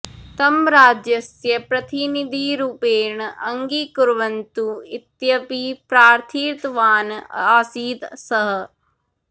तं राज्यस्य प्रतिनिधिरूपेण अङ्गीकुर्वन्तु इत्यपि प्रार्थितवान् आसीत् सः